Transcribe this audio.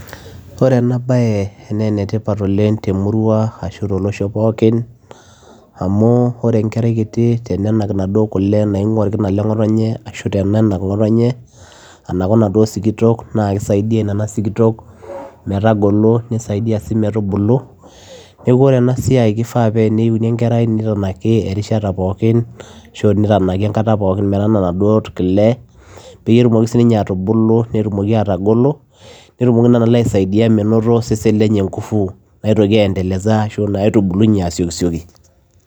Wore ena baye naa enetip oleng' temurua ashu tolosho pookin, amu wore enkerai kiti tenenak inaduo kule naingua orkina leng'otonye ashu tenenak ngotonye anaku inaduo sikitok naa kisaidia inaduo sikitok metagolo, nisaidia sii metubulu. Neeku wore ena siai kifaa paa teneini enkerai nitanaki erishata pookin ashu nitanaki enkata pookin metanaa inaduo kule peyie etumoki sininye atubulu netumoki atogolo, netumoki niana kule aisaidia metutumo osesen lenye inkufu naitoki [c]aendeleza[c] ashu naitubulunye aasiokisioki.